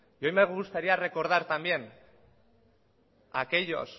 a mí me gustaría recordartambién a aquellos